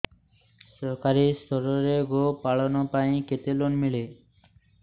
ସରକାରୀ ସ୍ତରରେ ଗୋ ପାଳନ ପାଇଁ କେତେ ଲୋନ୍ ମିଳେ